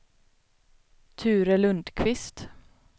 Ture Lundkvist